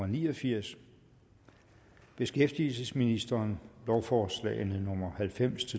ni og firs beskæftigelsesministeren lovforslag nummer halvfems